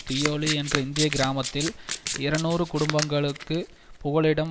தியோலி என்ற இந்திய கிராமத்தில் இருநூறு குடும்பங்களுக்குப் புகலிடம்